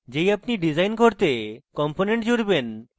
যেই আপনি ডিসাইন করতে components জুড়বেন